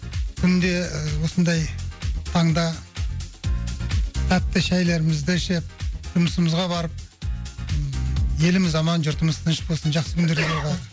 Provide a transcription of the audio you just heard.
күнде і осындай таңда тәтті шайларымызды ішіп жұмысымызға барып ммм еліміз аман жұртымыз тыныш болсын жақсы күндерде жолығайық